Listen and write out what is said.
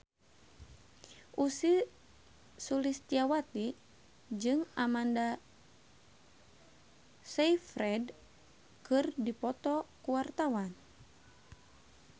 Ussy Sulistyawati jeung Amanda Sayfried keur dipoto ku wartawan